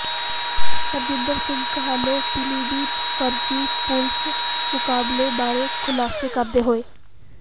ਹਰਜਿੰਦਰ ਸਿੰਘ ਕਾਹਲੋਂ ਪੀਲੀਭੀਤ ਫਰਜ਼ੀ ਪੁਲੀਸ ਮੁਕਾਬਲੇ ਬਾਰੇ ਖੁਲਾਸੇ ਕਰਦੇ ਹੋਏ